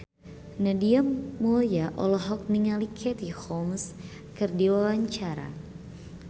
Nadia Mulya olohok ningali Katie Holmes keur diwawancara